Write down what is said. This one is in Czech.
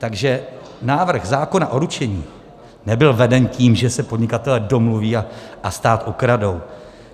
Takže návrh zákona o ručení nebyl veden tím, že se podnikatelé domluví a stát okradou.